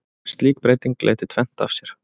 Slík breyting leiddi tvennt af sér.